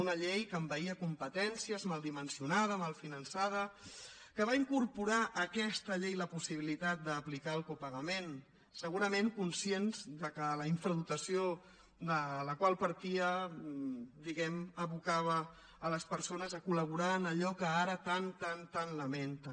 una llei que envaïa competències mal dimensionada mal finançada que va incorporar a aquesta llei la possibilitat d’aplicar el copagament segurament conscients que la infradotació de la qual partia diguem ne abocava a les persones a col·laborar en allò que ara tant tant tant lamenten